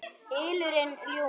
ylurinn ljúfi.